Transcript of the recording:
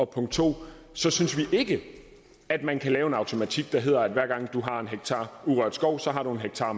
punkt to ikke at man kan lave en automatik der hedder at hver gang du har en hektar urørt skov så har du en hektar